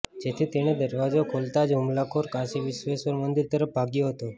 જેથી તેણે દરવાજો ખોલતાં જ હુમલાખોર કાશી વિશ્વેશ્વર મંદિર તરફ ભાગ્યો હતો